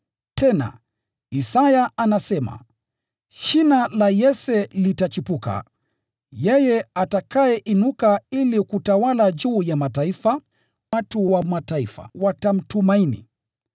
Tena Isaya anasema, “Shina la Yese litachipuka, yeye atakayeinuka ili kutawala juu ya mataifa. Watu wa Mataifa watamtumaini.”